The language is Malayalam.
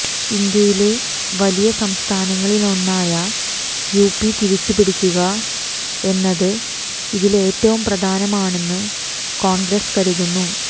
ഇന്ത്യയിലെ വലിയ സംസ്ഥാനങ്ങളിലൊന്നായ യുപി തിരിച്ചുപിടിക്കുക എന്നത് ഇതില് ഏറ്റവും പ്രധാനമാണെന്ന് കോണ്ഗ്രസ് കരുതുന്നു